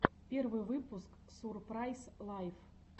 первый выпуск сурпрайз лайф